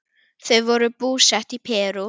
Þau voru búsett í Perú.